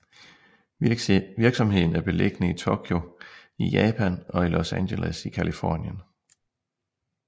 Virksomheden er beliggende i Tokyo i Japan og i Los Angeles i Californien